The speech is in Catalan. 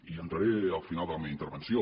hi entraré al final de la meva intervenció